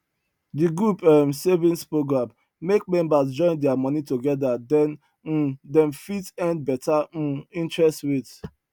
the group um savings program make members join their money together then um dem fit earn better um interest rates